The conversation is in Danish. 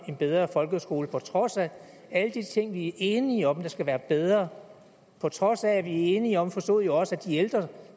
en bedre folkeskole på trods af alle de ting vi er enige om skal være bedre på trods af at vi er enige om forstod jeg også at de ældre